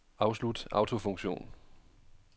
Afslut autofunktion.